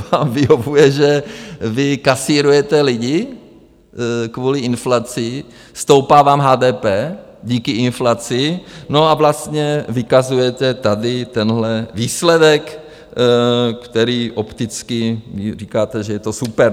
Vám vyhovuje, že vy kasírujete lidi kvůli inflaci, stoupá vám HDP díky inflaci, no a vlastně vykazujete tady tenhle výsledek, který opticky říkáte, že je to super.